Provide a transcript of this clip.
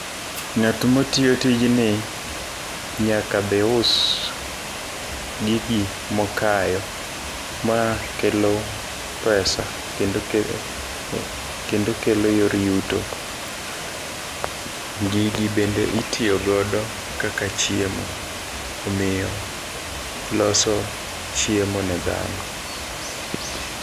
Ng'at matiyo tijni nyaka bi us gigi mokayo ma kelo pesa kendo ke kendo kelo yor yuto. Gigi bende itiyo godo kaka chiemo omiyo loso chiemo ne dhano.